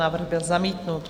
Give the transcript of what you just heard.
Návrh byl zamítnut.